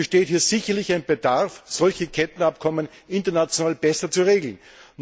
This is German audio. Es besteht hier sicherlich ein Bedarf, solche Kettenabkommen international besser zu regeln.